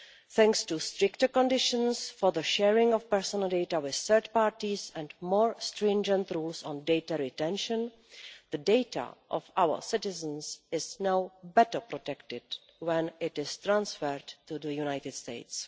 Thanks to stricter conditions for the sharing of personal data with third parties, and more stringent rules on data retention, the data of our citizens is now better protected when it is transferred to the United States.